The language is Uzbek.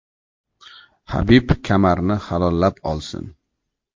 Habib kamarini halollab olsin.